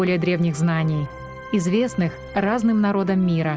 более древних знаний известных разным народам мира